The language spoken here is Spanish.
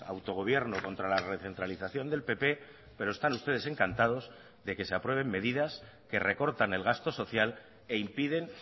autogobierno contra la recentralización del pp pero están ustedes encantados de que se aprueben medidas que recortan el gasto social e impiden